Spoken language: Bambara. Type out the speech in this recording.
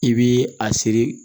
I bi a seri